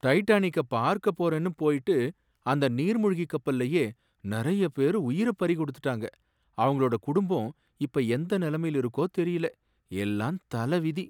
டைட்டானிக்க பார்க்க போறேன்னு போயிட்டு அந்த நீர்மூழ்கி கப்பல்லயே நிறைய பேரு உயிர பறிகொடுத்துட்டாங்க அங்களோட குடும்பம் இப்ப எந்த நிலமையில இருக்கோ தெரியல, எல்லாம் தலவிதி